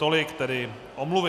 Tolik tedy omluvy.